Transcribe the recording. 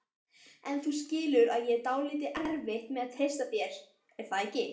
En þú skilur að ég á dálítið erfitt með að treysta þér, er það ekki?